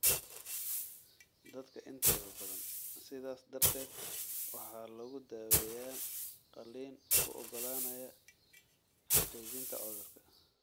Dadka intooda badan, sidaas darteed,, waxaa lagu daaweeyaa qaliin u oggolaanaya xaqiijinta cudurka.